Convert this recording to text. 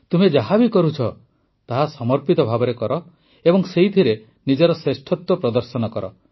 ତୁମେ ଯାହା ବି କରୁଛ ତାହା ସମର୍ପିତ ଭାବରେ କର ଏବଂ ସେଥିରେ ନିଜର ଶ୍ରେଷ୍ଠ ପ୍ରଦର୍ଶନ କର